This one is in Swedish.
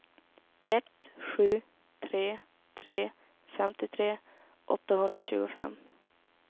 ett sju tre tre femtiotre åttahundratjugofem